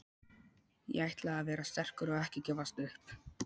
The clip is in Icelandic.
Ég ætla að vera sterkur og ekki gefast upp.